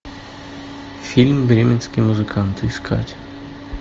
фильм бременские музыканты искать